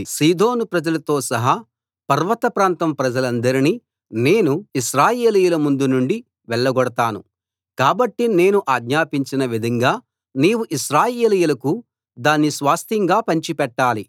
సీదోను ప్రజలతో సహా పర్వత ప్రాంతం ప్రజలందరినీ నేను ఇశ్రాయేలీయుల ముందు నుండి వెళ్లగొడతాను కాబట్టి నేను ఆజ్ఞాపించిన విధంగా నీవు ఇశ్రాయేలీయులకు దాన్ని స్వాస్థ్యంగా పంచిపెట్టాలి